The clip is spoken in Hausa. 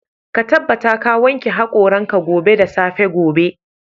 Ka tabbata ka wanke haƙoran ka gobe da safe gobe.